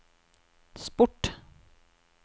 sport